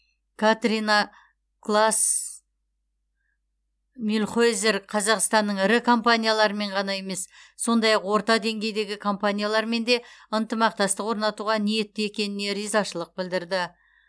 катрина клаас мюльхойзер қазақстанның ірі компаниялармен ғана емес сондай ақ орта деңгейдегі компаниялармен де ынтымақтастық орнатуға ниетті екеніне ризашылық білдірді